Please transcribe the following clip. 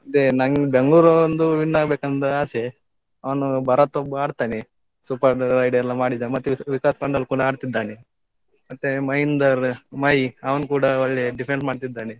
ಅದೇ ನನ್ಗೆ Bengaluru ಒಂದು win ಆಗ್ಬೇಕಂತ ಆಸೆ. ಅವನು ಭರತ್ ಒಬ್ಬ ಆಡ್ತಾನೆ super ride ಎಲ್ಲ ಮಾಡಿದ. ಮತ್ತೆ ವಿಕಾಸ್ ಮಂಡಲ್ ಪುನಃ ಆಡ್ತಿದ್ದಾನೆ ಮತ್ತೆ ಮಹೇಂದರ್ ಮಹಿ ಅವನು ಕುಡಾ ಒಳ್ಳೆ defend ಮಾಡ್ತಿದ್ದಾನೆ.